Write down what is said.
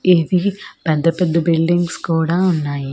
ఇది పెద్ద పెద్ద బిల్డింగ్స్ కూడా ఉన్నాయి.